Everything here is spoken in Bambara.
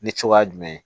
Ni cogoya jumɛn ye